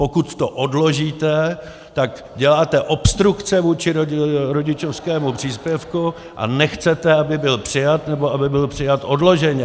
Pokud to odložíte, tak děláte obstrukce vůči rodičovskému příspěvku a nechcete, aby byl přijat, nebo aby byl přijat odloženě.